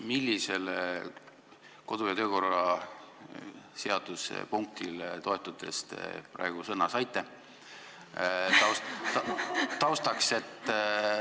Millisele kodu- ja töökorra seaduse punktile toetudes te praegu sõna saite?